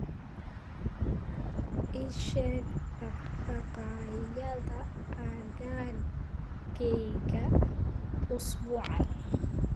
ii sheeg dhaqdhaqaaqyada aaggayga usbuucan